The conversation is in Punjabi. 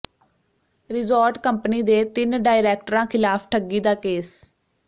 ਰਿਜ਼ੌਰਟ ਕੰਪਨੀ ਦੇ ਤਿੰਨ ਡਾਇਰੈਕਟਰਾਂ ਖ਼ਿਲਾਫ਼ ਠੱਗੀ ਦਾ ਕੇਸ